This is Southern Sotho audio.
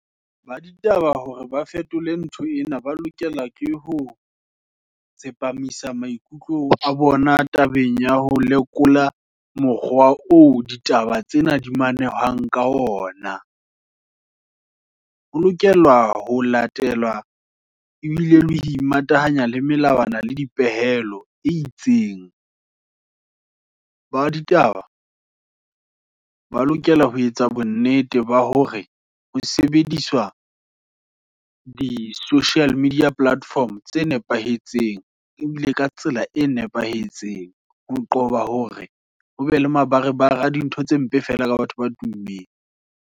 Ba ditaba hore, ba fetole ntho ena, ba lokela ke ho tsepamisa maikutlo a bona, tabeng ya ho lekola, mokgwa oo ditaba tsena di manehwang ka ona, ho lokelwa ho latelwa, ebile le imatahanya, le melawana le dipehelo, tsee itseng. Ba ditaba, ba lokela ho etsa bonnete, ba hore ho sebediswa, di-social media platform, tse nepahetseng, ebile ka tsela e nepahetseng. Ho qoba hore, hobe le mabare bare, dintho tse mpe feela, ka batho ba tummeng.